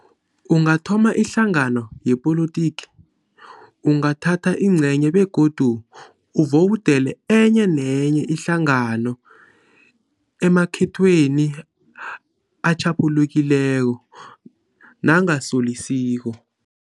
Ungathoma ihlangano yepolotiki, ungathatha ingcenye begodu uvowudele enye nenye ihlangano emakhetweni atjhaphulukileko nangasolisiko.